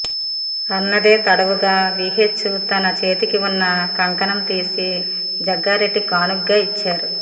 అన్నదే తడవుగా విహెచ్ తన చేతికి ఉన్న కంకణం తీసి జగ్గారెడ్డికి కానుకగ ఇచ్చారు